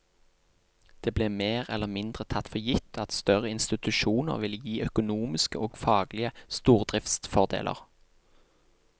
Det ble mer eller mindre tatt for gitt at større institusjoner ville gi økonomiske og faglige stordriftsfordeler.